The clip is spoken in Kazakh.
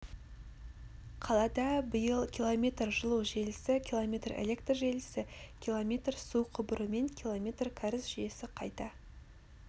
қалада биыл км жылу желісі км электр желісі км су құбыры мен км кәріз жүйесі қайта